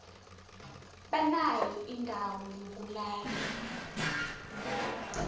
banayo indawo yokulala